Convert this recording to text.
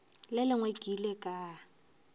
le lengwe ke ile ka